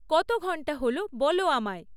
কত ঘণ্টা হল বলো আমায়